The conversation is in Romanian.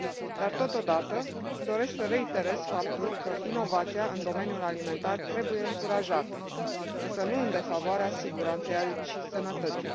Dar, totodată, doresc să reiterez faptul că inovația în domeniul alimentar trebuie încurajată, însă nu în defavoarea siguranței și sănătății.